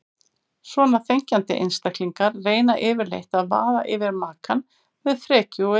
Svona þenkjandi einstaklingar reyna yfirleitt að vaða yfir makann með frekju og yfirgangi.